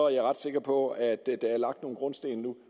jeg ret sikker på at der er lagt en grundsten nu